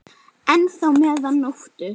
enn þá meðan nóttu